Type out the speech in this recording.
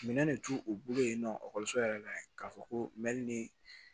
Minɛn de t'u bolo yen nɔ yɛrɛ la k'a fɔ ko ni